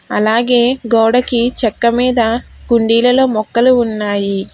అలాగే గోడకి చెక్క మీద కుండీలలో మొక్కలు ఉన్నాయి.